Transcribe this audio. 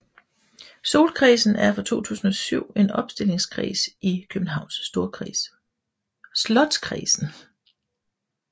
Slotskredsen er fra 2007 en opstillingskreds i Københavns Storkreds